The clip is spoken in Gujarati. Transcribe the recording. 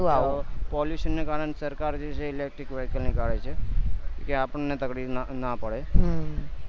ન તું આવું pollution ના કારણે સરકાર જે છે એ electric vehicle નીકળે છે કે આપડ ને તકલીફ ન પડે